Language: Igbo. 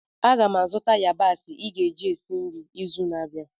Aga m azụta yabasị ị ga-eji esi nri izu na-abịa